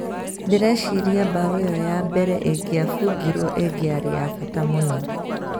"Ndireciria mbaũ ĩyo ya mbere ĩngĩabungirwo ĩngĩari ya bata mũno.